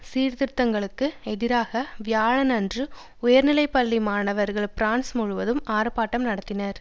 சீர்திருத்தங்களுக்கு எதிராக வியாழனன்று உயர்நிலை பள்ளி மாணவர்கள் பிரான்ஸ் முழுவதும் ஆர்ப்பாட்டம் நடத்தினர்